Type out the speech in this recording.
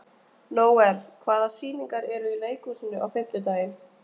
Nóel, hvaða sýningar eru í leikhúsinu á fimmtudaginn?